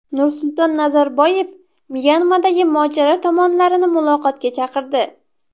Nursulton Nazarboyev Myanmadagi mojaro tomonlarini muloqotga chaqirdi.